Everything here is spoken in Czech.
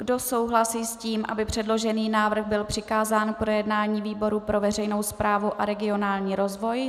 Kdo souhlasí s tím, aby předložený návrh byl přikázán k projednání výboru pro veřejnou správu a regionální rozvoj?